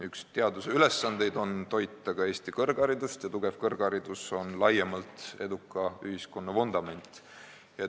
Üks teaduse ülesandeid on toita ka Eesti kõrgharidust ja tugev kõrgharidus on laiemalt eduka ühiskonna vundament.